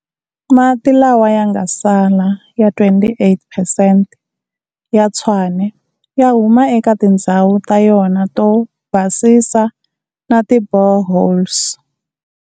Mati lawa yanga sala ya 28 percent ya Tshwane ya huma eka tindzhawu ta yona to basisa na ti boreholes.